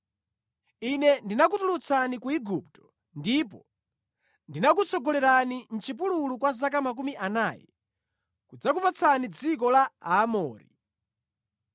“Ine ndinakutulutsani ku Igupto, ndipo ndinakutsogolerani mʼchipululu kwa zaka makumi anayi, kudzakupatsani dziko la Aamori.